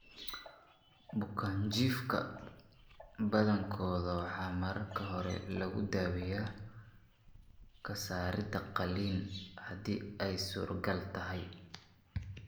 Bukaanjiifka badankooda waxaa marka hore lagu daweeyaa ka saarid qalliin haddii ay suurtagal tahay.